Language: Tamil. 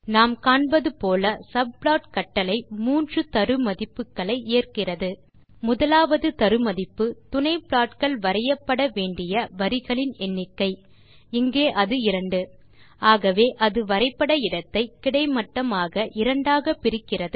நாம் காண்பது போல சப்ளாட் கட்டளை மூன்று தரு மதிப்புகளை ஏற்கிறது முதலாவது தரு மதிப்பு துணை ப்லாட்கள் வரையப்பட வேண்டிய வரிகளின் எண்ணிக்கை இங்கே அது 2 ஆகவே அது வரைபட இடத்தை கிடைமட்டமாக இரண்டாக பிரிக்கிறது